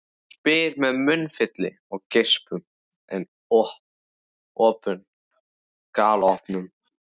spyr hann með munnfylli af geispum en augun galopin.